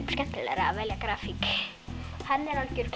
skemmtilegra að velja grafík hann er algjör